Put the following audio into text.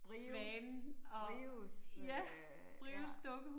Brios Brios øh ja